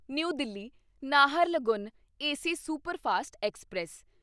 new Delhi Naharlagun AC superfast express